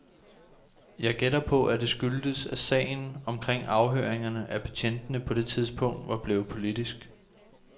Jeg gætter på, at det skyldtes, at sagen omkring afhøringerne af betjentene på det tidspunkt var blevet politisk.